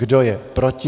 Kdo je proti?